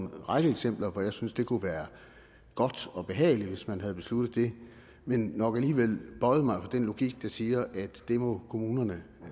række eksempler hvor jeg synes at det kunne være godt og behageligt hvis man havde besluttet det men vil nok alligevel bøje mig for den logik der siger at det må kommunerne